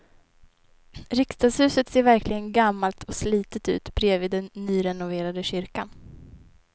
Riksdagshuset ser verkligen gammalt och slitet ut bredvid den nyrenoverade kyrkan.